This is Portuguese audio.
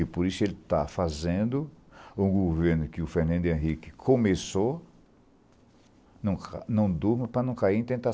E por isso ele está fazendo um governo que o Fernando Henrique começou, não ca não durma para não cair em